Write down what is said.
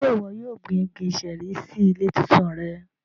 Ṣe iwọ yóò gbin igi ṣẹẹri si ile titun rẹ?